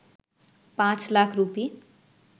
পাঁচ লাখ রুপি